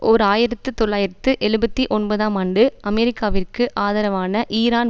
ஓர் ஆயிரத்து தொள்ளாயிரத்து எழுபத்தி ஒன்பதாம் ஆண்டு அமெரிக்காவிற்கு ஆதரவான ஈரான்